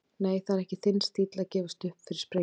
Nei, það er ekki þinn stíll að gefast upp fyrir sprengjum.